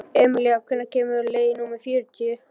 Emilía, hvenær kemur leið númer fjörutíu?